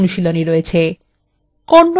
kannada বাহ্সায় ৩ টি বইএর একটি তালিকা লিখুন